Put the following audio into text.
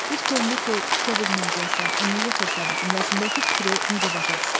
Bir könlülü ki, tikə bilməyəcəksən, niyə yıxırsan cümləsindəki fikri necə başa düşdüz?